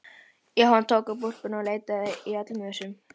Jóhann tók úlpuna og leitaði í öllum vösum.